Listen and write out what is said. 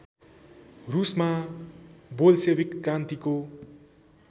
रूसमा Bolshevik क्रान्तिको